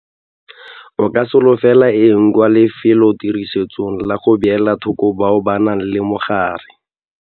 O ka solofela eng kwa lefelotirisong la go beela thoko bao ba nang le mogare?